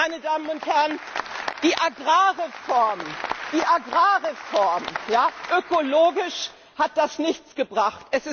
Meine Damen und Herren, die Agrarreform ökologisch hat das nichts gebracht!